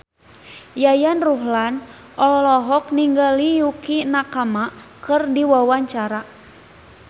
Yayan Ruhlan olohok ningali Yukie Nakama keur diwawancara